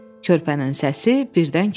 Körpənin səsi birdən kəsildi.